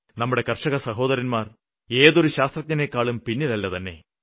നമ്മുടെ കര്ഷക സഹോദരന്മാര് ഏതൊരു ശാസ്ത്രജ്ഞനേക്കാളും പിന്നിലല്ലതന്നെ